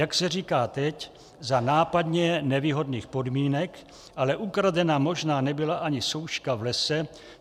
Jak se říká teď, za nápadně nevýhodných podmínek, ale ukradena možná nebyla ani souška v lese.